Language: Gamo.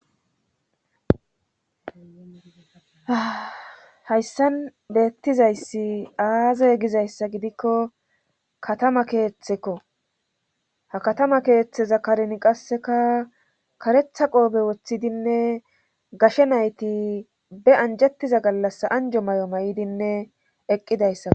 hayssan beettizayssi aazey gizayssa gidikko katama keeththeko ha katama keeththeza kareni qasseka karetha qoobe woththidinne gashe nayti be anjettiza gallas anjo may7o may7dinne eqqidayssako